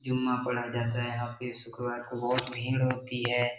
जुम्मा पढ़ा जाता है यहां पे शुक्रवार को बहोत भीड़ होती है।